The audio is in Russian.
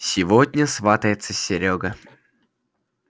сегодня сватается серёга